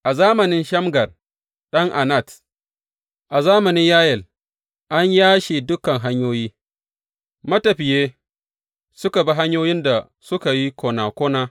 A zamanin Shamgar ɗan Anat, a zamanin Yayel, an yashe dukan hanyoyi; matafiye suka bi hanyoyin da suka yi kona kona.